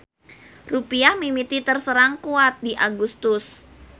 Rupiah mimiti terserang kuat di Agustus.